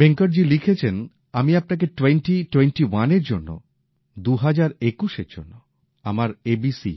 ভেঙ্কটজি লিখেছেন আমি আপনাকে টোয়েণ্টী টোয়েণ্টীওয়ান এর জন্য দু হাজার একুশের জন্য আমার আমার এবিসি